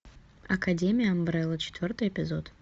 академия амбрелла четвертый эпизод